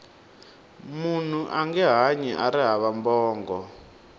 munhu ange hanyi ari hava bongo